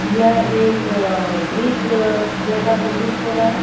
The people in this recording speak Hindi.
यह एक अ ब्रिज जैसा प्रतीत हो रहा है.